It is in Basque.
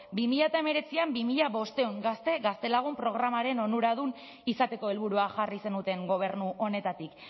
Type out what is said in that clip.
bi mila hemeretzian bi mila bostehun gazte gaztelagun programaren onuradun izateko helburua jarri zenuten gobernu honetatik